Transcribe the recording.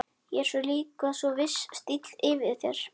Og svo er líka svona viss stíll yfir þér.